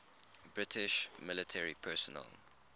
british military personnel